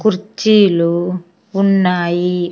కుర్చీలు ఉన్నాయి.